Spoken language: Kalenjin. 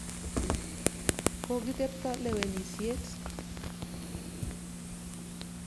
Koki tepto lewenisyet.